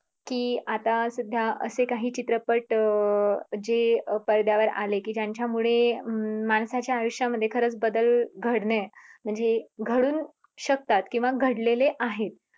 की आता सध्या असे काही चित्रपट अं जे पडद्यावर आले की त्यांच्यामुळे हम्म माणसाच्या आयुष्यामध्ये खरंच बदल घडलय म्हणजे घडून शकतात किव्हा घडलेले आहेत